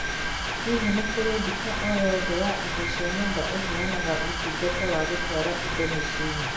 Hihi nĩ kũrĩ nduka o nyoothe ya indo cia nyumba iheanaga ũtungata wa gũtwara indo mĩciĩ-ini